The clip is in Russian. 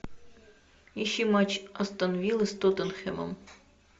ищи матч астон вилла с тоттенхэмом